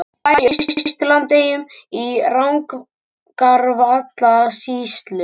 Bær í Austur-Landeyjum í Rangárvallasýslu.